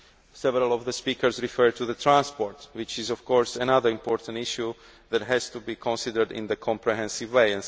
Several speakers referred to transport, which is, of course, another important issue that has to be considered in a comprehensive way.